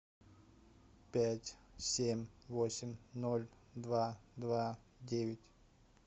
пять семь восемь ноль два два девять